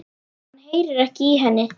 Hann heyrir ekki í henni.